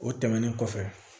O tɛmɛnen kɔfɛ